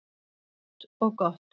Hentugt og gott.